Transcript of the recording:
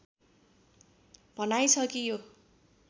भनाइ छ कि यो